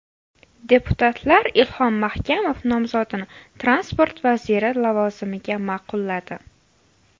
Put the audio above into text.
Deputatlar Ilhom Mahkamov nomzodini transport vaziri lavozimiga ma’qulladi.